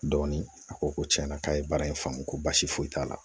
Dɔɔnin a ko ko tiɲɛna k'a ye baara in faamu ko basi foyi t'a la